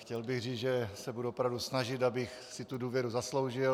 Chtěl bych říct, že se budu opravdu snažit, abych si tu důvěru zasloužil.